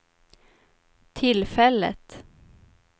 tillfället